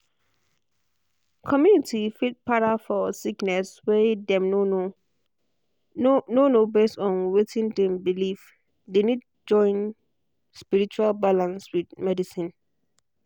community fit para for sickness way dem no know no know base on wetin dem believee dey need join spiritual balance with medicine.